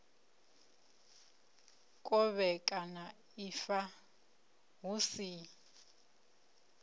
u kovhekana ifa hu si